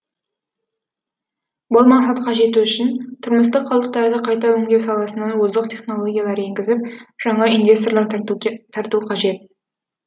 бұл мақсатқа жету үшін тұрмыстық қалдықтарды қайта өңдеу саласына озық технологиялар енгізіп жаңа инвесторлар тарту қажет